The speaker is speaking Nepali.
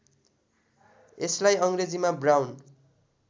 यसलाई अङ्ग्रेजीमा ब्राउन